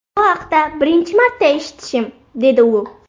Bu haqda birinchi marta eshitishim”, dedi u.